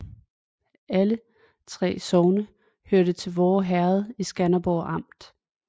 Alle 3 sogne hørte til Voer Herred i Skanderborg Amt